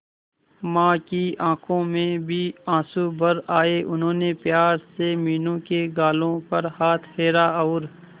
मां की आंखों में भी आंसू भर आए उन्होंने प्यार से मीनू के गालों पर हाथ फेरा और